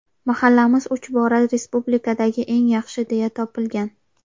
Mahallamiz uch bora respublikadagi eng yaxshi deya topilgan.